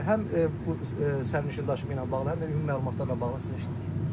Həm bu sərnişin daşıma ilə bağlı, həm də ümumi məlumatlarla bağlı sizi eşidirik.